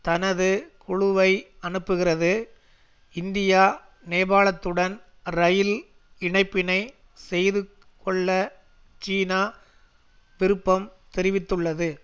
தனது குழுவை அனுப்புகிறது இந்தியா நேபாளத்துடன் ரயில் இணைப்பினை செய்து கொள்ள சீனா விருப்பம் தெரிவித்துள்ளது